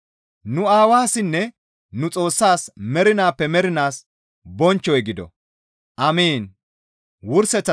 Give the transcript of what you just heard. Nu Aawassinne nu Xoossaas mernaappe mernaas bonchchoy gido. Amiin.